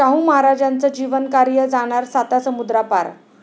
शाहू महाराजांचं जीवनकार्य जाणार सातासमुद्रापार